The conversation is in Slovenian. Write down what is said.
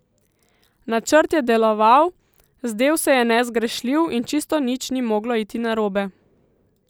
Načrt je deloval, zdel se je nezgrešljiv, in čisto nič ni moglo iti narobe.